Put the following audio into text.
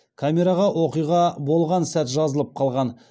камераға оқиға болған сәт жазылып қалған